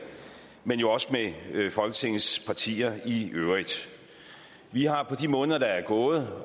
men jo også med folketingets partier i øvrigt vi har på de måneder der er gået